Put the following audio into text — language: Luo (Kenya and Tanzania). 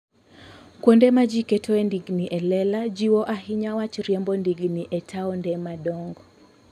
Kuonde ma ji ketoe ndigni e lela jiwo ahinya wach riembo ndigni e taonde madongo.